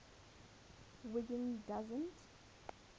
wiggin doesn t